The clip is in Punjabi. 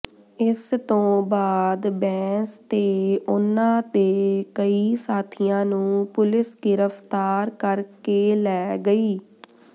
ਇਸ ਤੋਂ ਬਾਅਦ ਬੈਂਸ ਤੇ ਉਨ੍ਹਾਂ ਦੇ ਕਈ ਸਾਥੀਆਂ ਨੂੰ ਪੁਲਿਸ ਗਿਰਫਤਾਰ ਕਰਕੇ ਲੈ ਗਈ